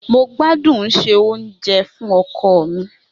Mo gbadun sè fun oko mi.